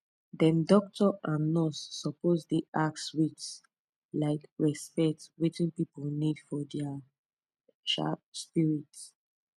dem doctor and nurse suppose dey ask with um respect wetin pipu need for dia um spirit